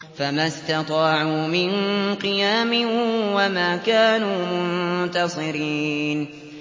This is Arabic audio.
فَمَا اسْتَطَاعُوا مِن قِيَامٍ وَمَا كَانُوا مُنتَصِرِينَ